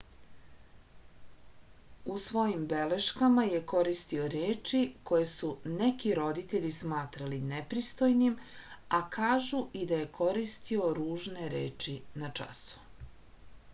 u svojim beleškama je koristio reči koje su neki roditelji smatrali nepristojnim a kažu i da je koristio ružne reči na času